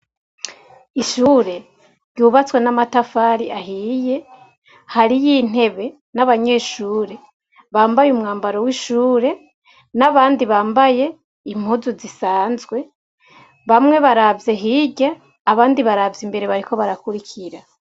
Ishure ryubatswe n'amatafari ahiye hariyo intebe n'abanyeshure bambaye umwambaro w'ishure n'abandi bambaye impuzu zisanzwe bamwe baravye hirya abandi baravya imbere bariko barakurikira.